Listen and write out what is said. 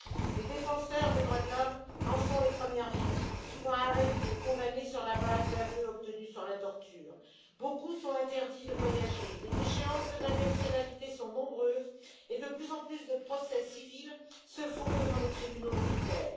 Les défenseurs des droits de l'homme en sont les premières victimes, souvent arrêtés et condamnés sur la base d'aveux obtenus sous la torture. Beaucoup ont l'interdiction de voyager, les déchéances de nationalité sont nombreuses et de plus en plus de procès civils se font devant des tribunaux militaires.